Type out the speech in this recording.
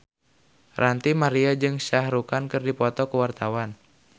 Ranty Maria jeung Shah Rukh Khan keur dipoto ku wartawan